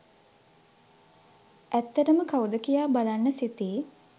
ඇත්තටම කවුද කියා බලන්න සිතී